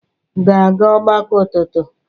ga-aga ọgbakọ ụtụtụ?